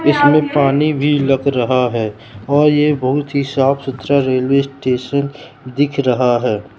इसमें पानी भी लग रहा है और ये बहुत ही साफ सच्चा रेलवे स्टेशन दिख रहा है।